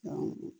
Awɔ